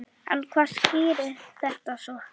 En hvað skýrir þetta svo?